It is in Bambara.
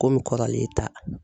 Komi kɔrɔlen e ta.